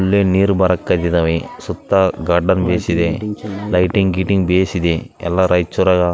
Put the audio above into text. ಒಳ್ಳೆ ನೀರು ಬರಕ್ಕಗಿದಾವೆ ಸುತ್ತ ಗಾರ್ಡನ್‌ ಬೇಸಿದೆ ಲೈಟಿಂಗ್‌ ಗೀಟಿಂಗ್‌ ಬೇಸಿದೆ ಎಲ್ಲ ರೈಚೂರಾಗ --